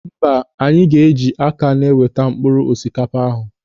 Mba, anyị ga eji aka na-eweta mkpụrụ osikapa ahụ